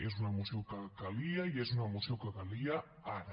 és una moció que calia i és una moció que calia ara